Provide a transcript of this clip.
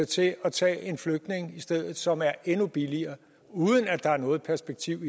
til at tage en flygtning i stedet som er endnu billigere uden at der er noget perspektiv